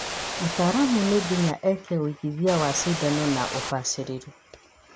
Mũtaramu nĩ nginyagia eke ũigithia wa cindano na ũbacĩrĩru